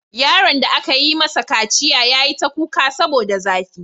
Yaron da aka yi masa kaciya ya yi ta kuka saboda zafi.